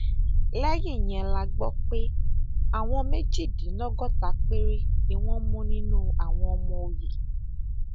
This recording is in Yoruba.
lẹyìn yẹn la gbọ pé àwọn méjìdínlọgọta péré ni wọn mú nínú àwọn ọmọ ọyẹ